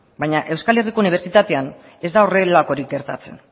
baina euskal herriko unibertsitatean ez da horrelakorik gertatzen